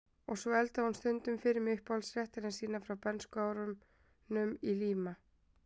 Og svo eldaði hún stundum fyrir mig uppáhaldsréttina sína frá bernskuárunum í Líma